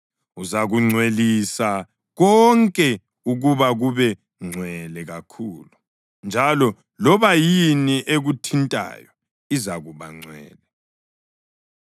Uzakungcwelisa konke ukuba kube ngcwele kakhulu, njalo loba yini ekuthintayo izakuba ngcwele.